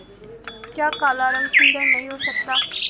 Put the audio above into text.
क्या काला रंग सुंदर नहीं हो सकता